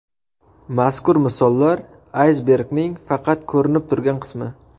Mazkur misollar aysbergning faqat ko‘rinib turgan qismi.